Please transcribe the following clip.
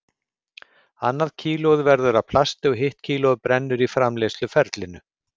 Annað kílóið verður að plasti og hitt kílóið brennur í framleiðsluferlinu.